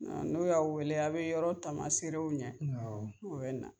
N'o y'aw aw bɛ yɔrɔ taamasere u ɲɛ u bɛ na awɔ.